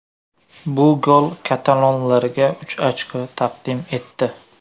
Bu gol katalonlarga uch ochko taqdim etdi.